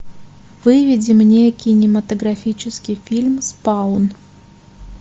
выведи мне кинематографический фильм спаун